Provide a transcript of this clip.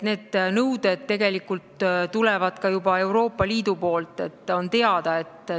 Need nõuded tegelikult tulevad juba ka Euroopa Liidust, see on teada.